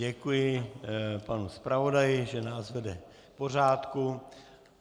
Děkuji panu zpravodaji, že nás vede k pořádku.